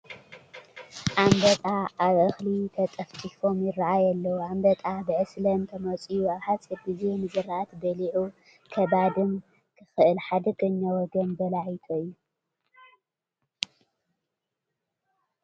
ኣንበጣ ኣብ እኽሊ ተጠፍጢፎም ይርአዩ ኣለዉ፡፡ ኣንበጣ ብዕስለ እንተመፅዩ ኣብ ሓፂር ግዜ ንዝራእቲ በሊዑ ከባድም ክኽእል ሓደገኛ ወገን በላዒቶ እዩ፡፡